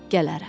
Gələrəm.